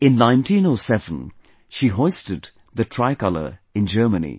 In 1907, she hoisted the Tricolor in Germany